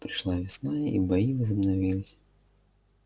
пришла весна и бои возобновились